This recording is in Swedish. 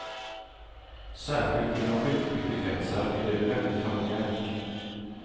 Särskilt inom skidskyttekretsar är det väldigt familjärt.